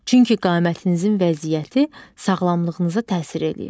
Çünki qamətinizin vəziyyəti sağlamlığınıza təsir eləyir.